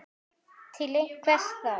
Til hvers þá?